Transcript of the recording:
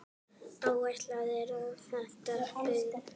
Áætlað er að þétta byggð.